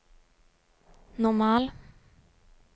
normal